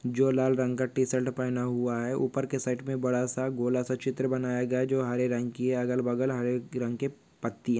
जो लाल रंग का टी-शर्ट पहना हुआ है उपर के साइड पे बड़ा सा गोलासा चित्र बनाया गया जो हरे रंग की है। अगल बगल हरे रंग के पत्तीया--